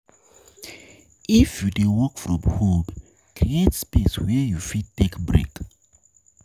if you dey work from home, create space where you fit take break